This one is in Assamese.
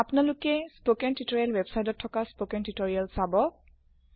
আপোনালোকে বাণী নিৰ্দেশনা ৱেব্ছাইট ত থকা স্পোকেন টিউটৰিয়েল চাব